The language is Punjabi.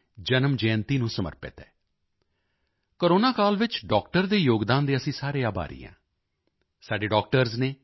ਰਾਏ ਦੀ ਜਨਮ ਜਯੰਤੀ ਨੂੰ ਸਮਰਪਿਤ ਹੈ ਕੋਰੋਨਾ ਕਾਲ ਵਿੱਚ ਡਾਕਟਰ ਦੇ ਯੋਗਦਾਨ ਦੇ ਅਸੀਂ ਸਾਰੇ ਆਭਾਰੀ ਹਾਂ ਸਾਡੇ ਡਾਕਟਰਜ਼ ਨੇ